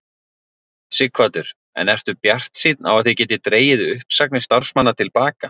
Sighvatur: En ertu bjartsýnn á að þið getið dregið uppsagnir starfsmanna til baka?